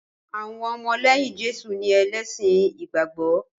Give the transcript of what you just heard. Àwọn ọmọlẹ́yìn Jésù ni ẹlẹ́sìn ìgbàgbọ́